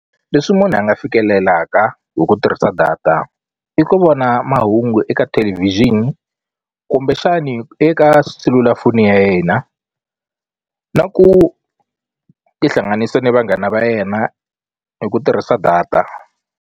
Leswi munhu a nga fikelelaka hi ku tirhisa data i ku vona mahungu eka television kumbexani eka selulafoni ya yena na ku tihlanganisa ni vanghana va yena hi ku tirhisa data.